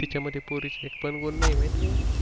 तिच्या मध्ये पोरीची एक पण गुण नाही माहित आहे?